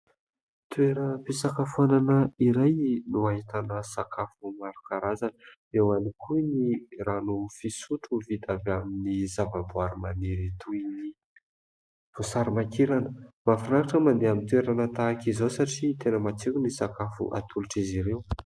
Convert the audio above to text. Toeram-pisakafoanana iray no ahitana sakafo maro karazana eo ihany ko ny rano fisotro vita avy amin'ny zava-boahary maniry toy ny vosary makirana. Mahafinaritra ny mandeha amin'ny toerana tahaka izao satria tena matsiro ny sakafo atolotr'izy ireo.